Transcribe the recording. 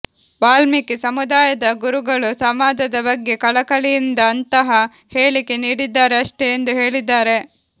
ವಾಲ್ಮಿಕಿ ಸಮುದಾಯದ ಗುರುಗಳು ಸಮಾಜದ ಬಗ್ಗೆ ಕಳಕಳಿಯಿಂದ ಅಂತಹ ಹೇಳಿಕೆ ನೀಡಿದ್ದಾರೆ ಅಷ್ಟೇ ಎಂದು ಹೇಳಿದ್ದಾರೆ